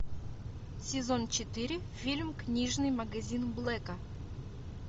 сезон четыре фильм книжный магазин блэка